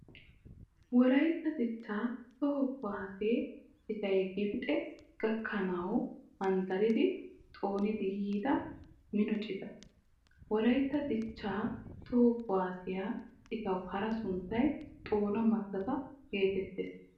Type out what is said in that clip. Wolaytta dichchaa toho kuwaase citay Gibixe gakkanawu manddaridi xoonidi yiida mino cita. Wolaytta Dichchaa toho kuwaasee citawu hara sunttay "Xoona mattata" geetettees